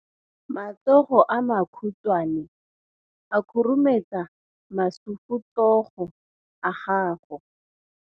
Matsogo a makhutshwane a khurumetsa masufutsogo a gago.